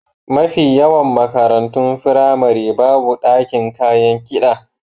Mafi yawan makarantun firamari babu ɗakin kayan kiɗa.